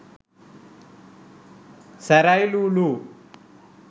සැරයිලු ලු ලු